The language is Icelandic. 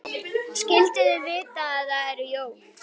Skyldu þau vita að það eru jól?